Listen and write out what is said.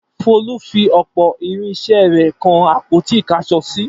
Folú fi ọ̀pọ̀ irinṣẹ́ rẹ̀ kan àpótí-ìkáṣọsí.